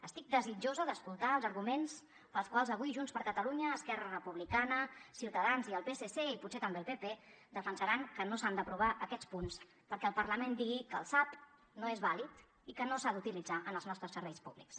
estic desitjosa d’escoltar els arguments pels quals avui junts per catalunya esquerra republicana ciutadans i el psc i potser també el pp defensaran que no s’han d’aprovar aquests punts perquè el parlament digui que el sap no és vàlid i que no s’ha d’utilitzar en els nostres serveis públics